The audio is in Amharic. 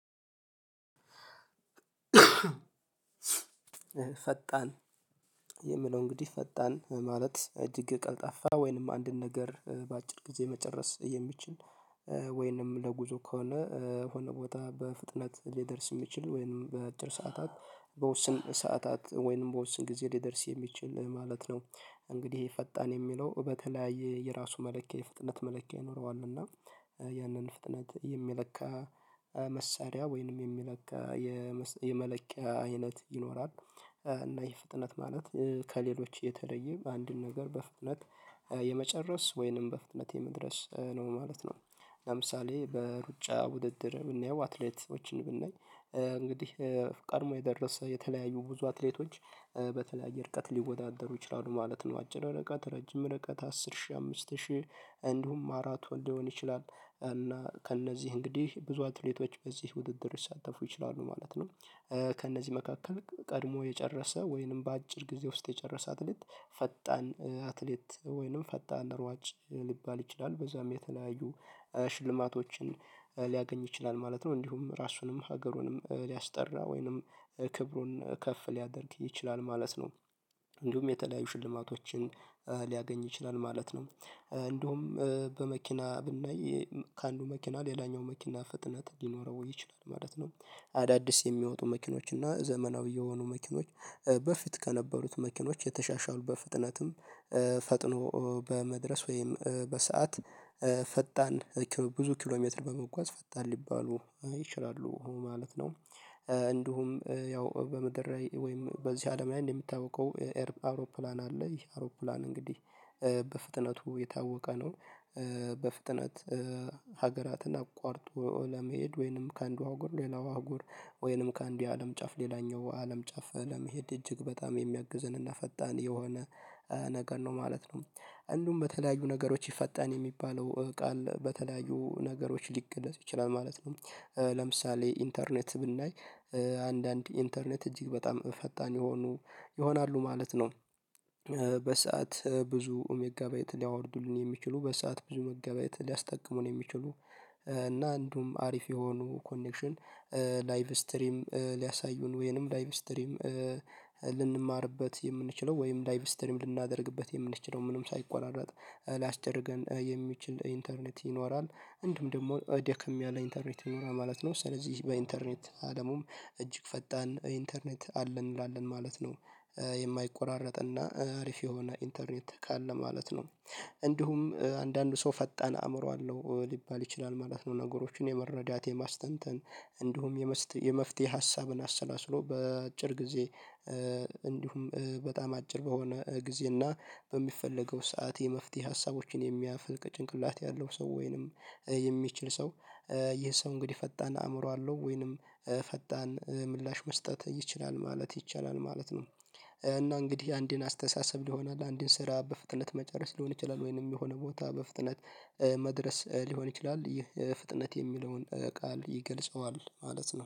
ፈጣን የምለው እንግዲህ ፈጣን ማለት እጅግ ቀልጣፋ ወይንም አንድን ነገር በአጭር ጊዜ መጨረስ የሚችል። ወይንም ለጉዞ ከሆነ ወይንም ቦታ በፍጥነት ሊደርስ የሚችል ወይንም በአጭር ሰዓታት በውስን ሰዓታት ወይንም በውስን ጊዜ ሊደርስ የሚችል ማለት ነው። እንግዲህ ፈጣን የሚለው በተለያየ የራሱ መለኪያ የፍጥነት መለኪያ ይኖረዋል እና ያንን ፍጥነት የሚለካ መሳሪያ ወይንም የሚለካ የመለኪያ አይነት ይኖራል። እና ይሄ ፍጥነት ማለት ከሌሎች የተለየ በአንድ በአንድን ነገር በፍጥነት የመጨረስ ወይንም በፍጥነት የመድረስ ነው ማለት ነው። ለምሳሌ በሩጫ ውድድር ብናየው አትሌቶችን ብናይ እንግዲህ ቀድሞ የደረሰ የተለያዩ ብዙ አትሌቶች በተለያየ ርቀት ሊወዳደሩ ይችላሉ ማለት ነው። አጭር ርቀት ረጅም ርቀት አስር ሺህ አምስት ሺህ እንዲሁም አራቱ ሊሆን ይችላል እና ከእነዚህ እንግዲህ ብዙ አትሌቶች በዚህ ውድድር ይሳተፉ ይችላሉ ማለት ነው። ከእነዚህ መካከል ቀድሞ የጨረሰ ወይንም በአጭር ጊዜ ውስጥ የጨረሰ አትሌት ፈጣን አትሌት ወይንም ፈጣን ሯጭ ሊባል ይችላል በዛም የተለያዩ ሽልማቶችን ሊያገኝ ይችላል ማለት ነው እንዲሁም ራሱንም ሀገሩንም ሊያስጠራ ወይንም ክብሩን ከፍ ሊያደርግ ይችላል ማለት ነው። እንዲሁም የተለያዩ ሽልማቶችን ሊያገኝ ይችላል ማለት ነው። እንዲሁም በመኪና ብናይ ከአንዱ መኪና ሌላኛው መኪና ፍጥነት ሊኖረው ይችላል ማለት ነው። አዳዲስ የሚወጡ መኪኖች እና ዘመናዊ የሆኑ መኪኖች በፊት ከነበሩት መኪኖች የተሻሻሉ በፍጥነትም ፈጥኖ በመድረስ ወይም በሰአት ፈጣን ብዙ ኪሎሜትር በመጓዝ ፈጣን ሊባሉ ይችላሉ ማለት ነው። እንዲሁም ያው በምድር ወይም በዚህ አለም ላይ እንደምታውቀው አውሮፕላን አለ አውሮፕላን እንግዲህ በፍጥነቱ የታወቀ ነው። በፍጥነት ሀገራትን አቋርጦ ለመሄድ ወይንም ከአንዱ አህጉር ሌላዋ አህጉር ወይንም ከአንድ የአለም ጫፍ ሌላኛው አለም ጫፍ ለመሄድ እጅግ በጣም የሚያግዝንና ፈጣን የሆነ ነገር ነው ማለት ነው። እንደውም በተለያዩ ነገሮች ይፈጣን የሚባለው ቃል በተለያዩ ነገሮች ሊገለጹ ይችላል ማለት ነው። ለምሳሌ ኢንተርኔት ብናይ አንዳንድ ኢንተርኔት እጅግ በጣም ፈጣን የሆኑ ይሆናሉ ማለት ነው። በሰአት ብዙ ሜጋባይት ሊያወርዱልን የሚችሉ በሰአት ብዙ ሜጋባይት ሊያስጠቅሙን የሚችሉ እና አንዱም አሪፍ የሆኑ ኮኔክሽን ላይቭ ስትሪም ሊያሳዩን ወይንም ላይቭ ስትሪም ልንማርበት የምንችለው ወይም ላይቭ ስትሪም ልናደርግበት የምንችለው ምንም ሳይቆራረጥ ሊያስጨርሰን የሚችል ኢንተርኔት ይኖራል እንደውም ደግሞ ደክም ያለ ኢንተርኔት ይኖራ ማለት ነው። ስለዚህ በኢንተርኔት አለሙም እጅግ ፈጣን ኢንተርኔት አለን እንላለን ማለት ነው። የማይቆራረጥ እና አሪፍ የሆነ ኢንተርኔት ቃል ለማለት ነው። እንዲሁም አንዳንዱ ሰው ፈጣን አእምሮ አለው ሊባል ይችላል ማለት ነው ነገሮችን የመረዳት የማስተዋል እንዲሁም የመፍትሄ ሀሳብን አሰላስሎ በአጭር ጊዜ እንዲሁም በጣም አጭር በሆነ ጊዜ እና በሚፈለገው ሰዓት የመፍትሄ ሀሳቦችን የሚያፍልቅ ጭንቅላት ያለው ሰው ወይንም የሚችል ሰው ይህ ሰው እንግዲህ ፈጣን አእምሮ አለው ወይንም ፈጣን ምላሽ መስጠት ይችላል ማለት ይቻላል ማለት ነው። እና እንግዲህ አንዴን አስተሳሰብ ሊሆን አለ አንዴን ስራ በፍጥነት መጨረስ ሊሆን ይችላል ወይንም የሆነ ቦታ በፍጥነት መድረስ ሊሆን ይችላል ይህ ፍጥነት የሚለውን ቃል ይገልጸዋል ማለት ነው